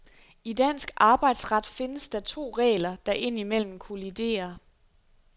I dansk arbejdsret findes der to regler, der indimellem kolliderer.